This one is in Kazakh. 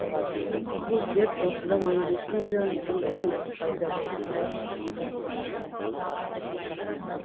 бұл дерт осыдан он жнті миллион жыл бұрын пайда болыпты